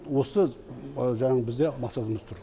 осы жаңағы бізде мақсатымыз тұр